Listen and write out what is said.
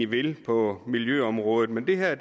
vil på miljøområdet men det her er